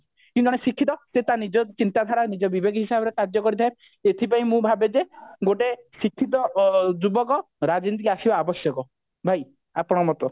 କିନ୍ତୁ ଜଣେ ଶିକ୍ଷିତ ସେ ତା ନିଜ ଚିନ୍ତାଧାରା ନିଜ ବିବେକ ହିସାବରେ କାର୍ଯ୍ୟ କରିଥାଏ ଏଇଥି ପାଇଁ ମୁଁ ଭାବେ ଯେ ଗୋଟେ ଶିକ୍ଷିତ ଯୁବକ ରାଜନୀତିକୁ ଆସିବା ଆବଶ୍ୟକ ଭାଇ ଆପଣଙ୍କ ମତ